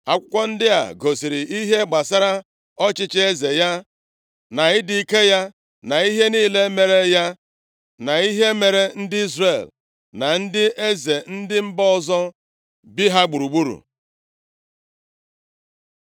Akụkọ ndị a gosiri ihe gbasara ọchịchị eze ya, na ịdị ike ya, na ihe niile mere ya, na ihe mere ndị Izrel, na ndị eze ndị mba ọzọ bi ha gburugburu.